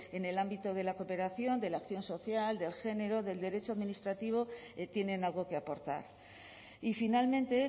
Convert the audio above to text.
en el ámbito de la cooperación de la acción social del género del derecho administrativo tienen algo que aportar y finalmente